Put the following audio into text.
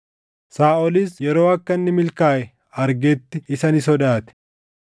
Saaʼolis yeroo akka inni milkaaʼe argetti isa ni sodaate.